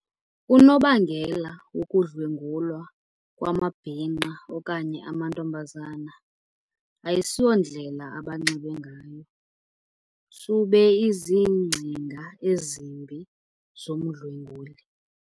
Unobangela wokudlwengulwa kwamabhinqa okanye amantombazana ayisiyondlela abanxibe ngayo. Sube izingcinga ezimbi zomdlwenguli.